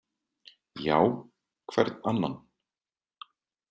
Já, hvern annan?